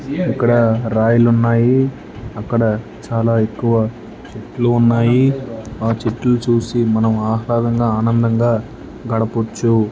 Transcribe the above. ఇక్కడ రాయల్ ఉన్నాయి అక్కడ చాలా ఎక్కువ ఉన్నాయి లిటిల్ చూసి మల్ల ఆనంద గడుపుచు దడపుచ్చు